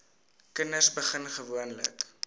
kinders begin gewoonlik